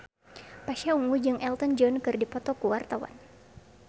Pasha Ungu jeung Elton John keur dipoto ku wartawan